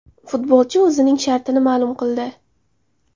Futbolchi o‘zining shartini ma’lum qildi.